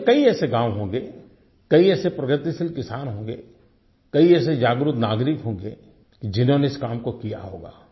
देश में कई ऐसे गाँव होंगे कई ऐसे प्रगतिशील किसान होंगे कई ऐसे जागरूक नागरिक होंगे जिन्होंने इस काम को किया होगा